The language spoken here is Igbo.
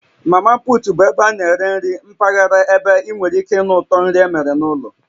Mamaput bụ ebe a na-eri nri mpaghara ebe ị nwere ike ịnụ ụtọ nri emere n'ụlọ